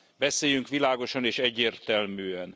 Beszéljünk világosan és egyértelműen!